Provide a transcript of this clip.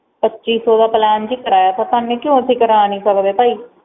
ਪੱਚੀ ਸੋ ਦਾ ਪਲੈਨ ਸੀ ਕਰਾਇਆ ਤੇ ਸਾਨੂ ਕਿ ਹੋ ਸਕਦਾ ਅਸੀਂ ਕਰਵਾ ਨਹੀਂ ਸਕਦੈ